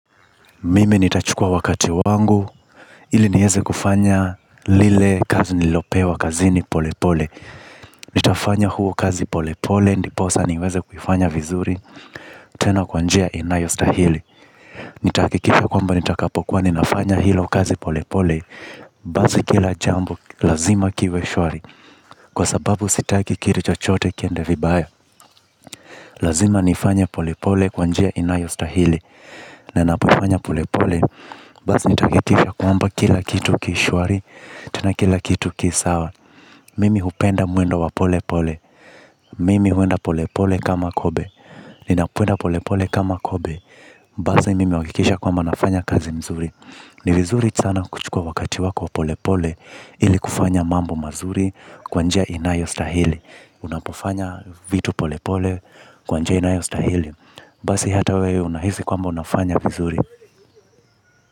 Mimi nitachukua wakati wangu. Ili niyeze kufanya lile kazi nilopewa kazi ni pole pole. Nitafanya huo kazi pole pole, ndiposa niweze kuifanya vizuri. Tena kwanjia inayo stahili. Nitakikisha kwamba nitakapokuwa ninafanya hilo kazi pole pole. Bazi kila jambo lazima kiwe shwari kwa sababu sitake kiri chochote kiende vibaya. Lazima nifanya pole pole kwanjia inayo stahili. Nina poifanya pole pole. Bazi nitakekisha kwamba kila kitu kishwari, tena kila kitu kisawa. Mimi hupenda muendo wa pole pole. Mimi huenda pole pole kama kobe. Ninakwenda pole pole kama kobe. Bazi mimi wakikisha kwamba nafanya kazi mzuri. Ni vizuri sana kuchukua wakati wako wa pole pole ili kufanya mambo mazuri kwanjia inayo stahili. Unapofanya vitu pole pole kwanjia inayo stahili. Bazi hata wewe unahisi kwamba unafanya vizuri.